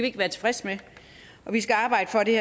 ikke være tilfredse med og vi skal arbejde for at det